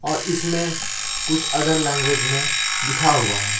और इसमें कुछ अदर लैंग्वेज में लिखा हुआ।